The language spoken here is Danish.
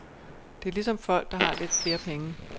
Det er ligesom folk, der har lidt flere penge.